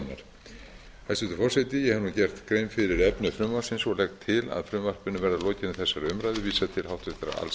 skoðunar hæstvirtur forseti ég hef nú gert grein fyrir efni frumvarpsins og legg til að frumvarpinu verði